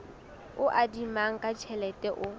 o adimanang ka tjhelete o